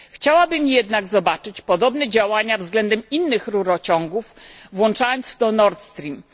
Chciałabym jednak zobaczyć podobne działania względem innych rurociągów, łącznie z Nord Streamem.